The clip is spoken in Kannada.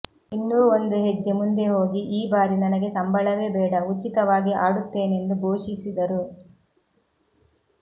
ಇನ್ನೂ ಒಂದು ಹೆಜ್ಜೆ ಮುಂದೆ ಹೋಗಿ ಈ ಬಾರಿ ನನಗೆ ಸಂಬಳವೇ ಬೇಡ ಉಚಿತವಾಗಿ ಆಡುತ್ತೇನೆಂದು ಘೋಷಿಸಿದರು